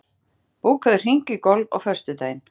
Grétar, bókaðu hring í golf á föstudaginn.